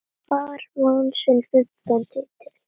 Fram vann sinn fimmta titil.